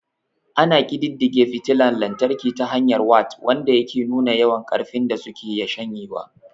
Ana ƙididdige fitila lantarki ta hanyar wat, wanda yake nuna yawan ƙarfin da suke shanyewa.